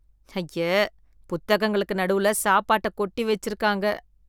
ஐயே, புத்தகங்களுக்கு நடுவுல சாப்பாட்ட கொட்டி வெச்சிருக்காங்க.